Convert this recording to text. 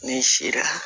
Ni si la